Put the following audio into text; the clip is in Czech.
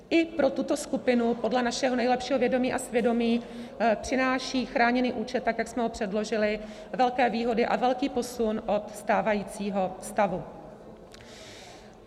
I pro tuto skupinu podle našeho nejlepšího vědomí a svědomí přináší chráněný účet, tak jak jsme ho předložili, velké výhody a velký posun od stávajícího stavu.